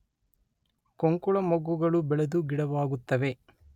ಕೊಂಕುಳಮೊಗ್ಗುಗಳು ಬೆಳೆದು ಗಿಡವಾಗುತ್ತವೆ.